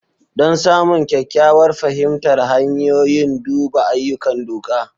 Don samun kyakkyawar fahimtar hanyoyin, duba ayyukan doka.